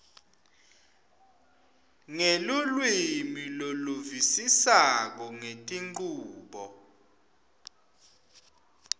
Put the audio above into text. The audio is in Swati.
ngelulwimi loluvisisako ngetinchubo